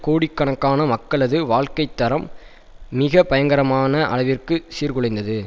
கோடிக்கணக்கான மக்களது வாழ்க்கை தரம் மிக பயங்கரமான அளவிற்கு சீர்குலைந்தது